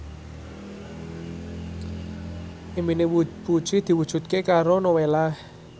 impine Puji diwujudke karo Nowela